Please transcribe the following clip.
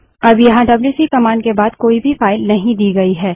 अब यहाँ WC command के बाद कोई भी फाइल नहीं दी गयी है